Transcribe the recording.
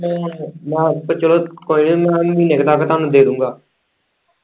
ਦਾਰ ਤਾਂ ਚੱਲੋ ਕੋਈ ਨੀ ਮੈਂ ਮਹੀਨੇ ਕ ਤੱਕ ਤੁਹਾਨੂੰ ਦੇ ਦੂਗਾ।